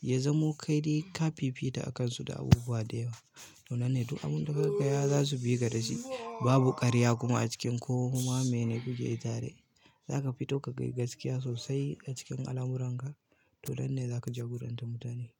ya zamo ka dai ka fifita akansu da abubuwa da yawa. To nanne duk abun daka gaya za su bi ka da shi. Babu ƙarya kuma a cikin koma mai ne kuke tare. Zaka fito ka gayi gaskiya sosai a cikin alamuran ka, to nan ne zaka jagoranta mutane.